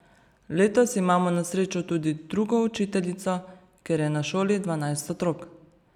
Letos imamo na srečo tudi drugo učiteljico, ker je na šoli dvanajst otrok.